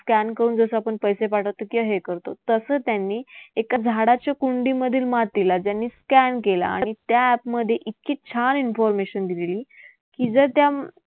Scan करून जसं आपण पैसे पाठवतो किंवा हे करतो तसं त्यांनी एका झाडाच्या कुंडीमधील मातीला त्यांनी scan केलं आणि त्या app मध्ये इतकी छान information दिलेली की जर त्या